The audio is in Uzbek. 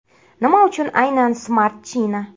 Nima uchun aynan Smart China?